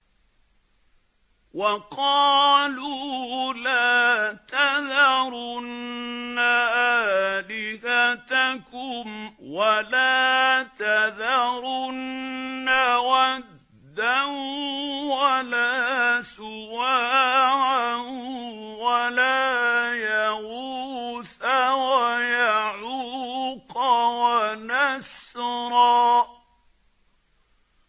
وَقَالُوا لَا تَذَرُنَّ آلِهَتَكُمْ وَلَا تَذَرُنَّ وَدًّا وَلَا سُوَاعًا وَلَا يَغُوثَ وَيَعُوقَ وَنَسْرًا